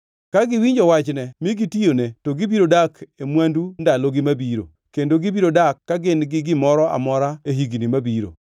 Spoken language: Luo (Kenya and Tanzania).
Ka giwinjo wachne mi gitiyone, to gibiro dak e mwandu ndalogi mabiro, kendo gibiro dak ka gin gi gimoro amora e higni mabiro.